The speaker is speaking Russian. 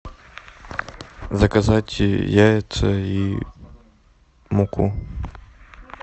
заказать яйца и муку